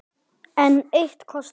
Enn eitt kotið.